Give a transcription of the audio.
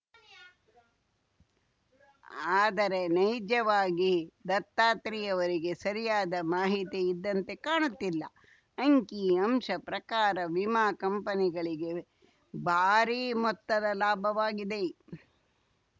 ಆದರೆ ನೈಜವಾಗಿ ದತ್ತಾತ್ರಿಯವರಿಗೆ ಸರಿಯಾದ ಮಾಹಿತಿ ಇದ್ದಂತೆ ಕಾಣುತ್ತಿಲ್ಲ ಅಂಕಿ ಅಂಶ ಪ್ರಕಾರ ವಿಮಾ ಕಂಪನಿಗಳಿಗೆ ಭಾರಿ ಮೊತ್ತದ ಲಾಭವಾಗಿದೆ